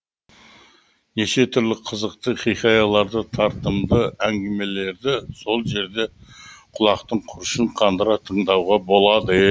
неше түрлі қызықты хикаяларды тартымды әңгімелерді сол жерде құлақтың құрышын қандыра тыңдауға болады